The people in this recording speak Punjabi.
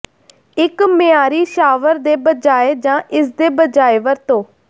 ਇੱਕ ਮਿਆਰੀ ਸ਼ਾਵਰ ਦੇ ਬਜਾਏ ਜਾਂ ਇਸਦੇ ਬਜਾਏ ਵਰਤੋ